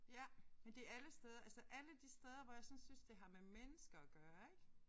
Ja men det alle steder altså alle de steder hvor jeg sådan synes det har med mennesker at gøre ik